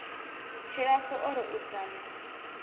tshilapfu o ri u dzama